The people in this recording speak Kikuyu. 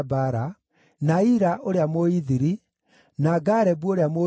na Ira ũrĩa Mũithiri, na Garebu ũrĩa Mũithiri,